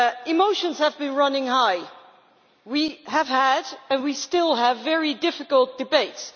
Emotions have been running high, we have had and we still have very difficult debates.